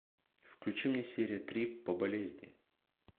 включи мне серия три по болезни